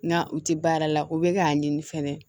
Nga u ti baara la u be k'a ɲini fɛnɛ